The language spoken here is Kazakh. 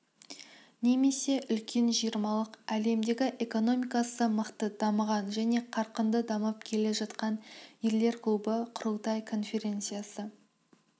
немесе үлкен жиырмалық әлемдегі экономикасы мықты дамыған және қарқынды дамып келе жатқан елдер клубы құрылтай конференциясы